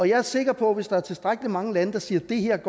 jeg er sikker på at hvis der er tilstrækkelig mange lande der siger at det her